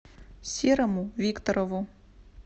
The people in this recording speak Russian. серому викторову